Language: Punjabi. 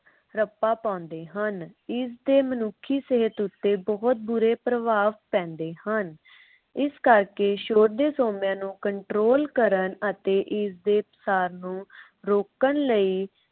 ਰੱਪਾ ਪਾਉਂਦੇ ਹਨ। ਇਸ ਦੇ ਮਨੁੱਖੀ ਸਿਹਤ ਉਤੇ ਬਹੁਤ ਬੁਰੇ ਪ੍ਰਭਾਵ ਪੈਂਦੇ ਹਨ। ਇਸ ਕਰਕੇ ਸ਼ੋਰ ਦੇ ਸੋਮਿਆਂ ਨੂੰ control ਕਰਨ ਅਤੇ ਇਸਦੇ ਪਸਾਰ ਨੂੰ ਰੋਕਣ ਲੀ